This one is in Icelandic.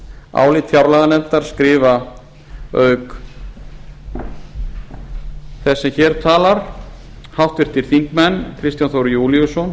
álit fjárlaganefndar skrifa auk þess er hér talar háttvirtir þingmenn kristján þór júlíusson